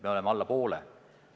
Me oleme läbinud vähem kui poole.